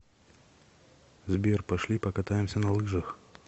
сбер пошли покатаемся на лыжах